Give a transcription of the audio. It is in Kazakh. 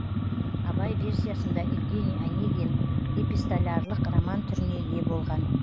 абай версиясында евгений онегин эпистолярлық роман түріне ие болған